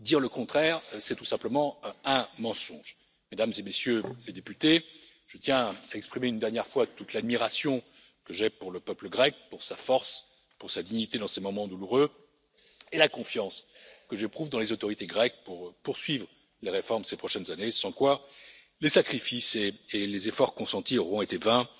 Dire le contraire, c'est tout simplement un mensonge. Mesdames et Messieurs les députés, je tiens à exprimer une dernière fois toute l'admiration que j'ai pour le peuple grec, pour sa force, pour sa dignité dans ces moments douloureux et la confiance que j'éprouve dans les autorités grecques pour poursuivre les réformes ces prochaines années, sans quoi les sacrifices et les efforts consentis auront été vains.